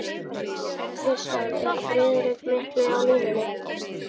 KRISTJÁN: Er Friðrik mikli á línunni?